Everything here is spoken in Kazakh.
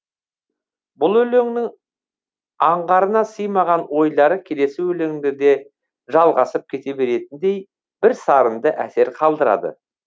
бір өлеңнің аңғарына сыймаған ойлары келесі өлеңінде де жалғасып кете беретіндей бірсарынды әсер қалдырады